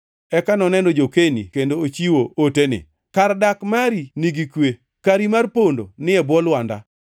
Eka noneno jo-Keni kendo ochiwo oteneni: “Kar dak mari nigi kwe, kari mar pondo ni e bwo lwanda;